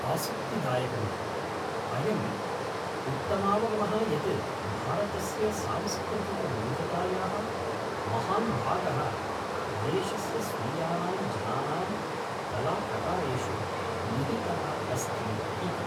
आसक्तिदायकमिदम्! अयम् उत्तमावगमः यत् भारतस्य सांस्कृतिकविविधतायाः महान् भागः देशस्य स्वीयानां जनानां कलाप्रकारेषु निहितः अस्ति इति।